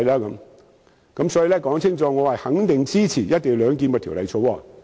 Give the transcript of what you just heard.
因此，我想清楚指出，我肯定支持《條例草案》。